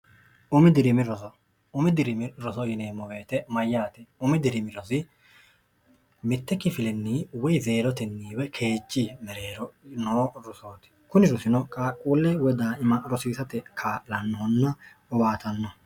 umi diriimi rosoumi diriimi roso yineemmo weete mayyaati umi dirimi roso mitte kifilinni woy zeerotenniwe keechi mereerono rosooti kuni rosino qaaqquulle wo daaima rosiisate ka'lannohonna owaatanno